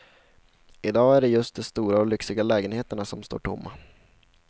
I dag är det just de stora och lyxiga lägenheterna som står tomma.